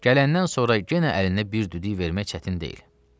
Gələndən sonra yenə əlinə bir düdük vermək çətin deyil.